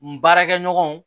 N baarakɛ ɲɔgɔnw